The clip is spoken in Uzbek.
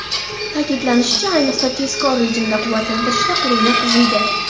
Ta’kidlanishicha, ayniqsa tezkor rejimda quvvatlantirishda qurilma qiziydi.